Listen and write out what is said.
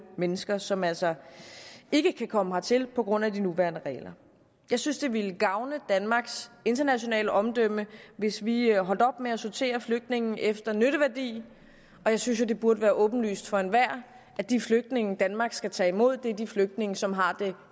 mennesker som altså ikke kan komme hertil på grund af de nuværende regler jeg synes det ville gavne danmarks internationale omdømme hvis vi holdt op med at sortere flygtninge efter nytteværdi og jeg synes jo det burde være åbenlyst for enhver at de flygtninge danmark skal tage imod er de flygtninge som har det